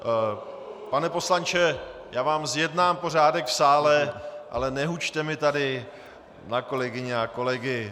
Pane poslanče, já vám zjednám pořádek v sále, ale nehučte mi tady na kolegyně a kolegy.